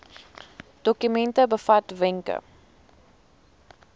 dokument bevat wenke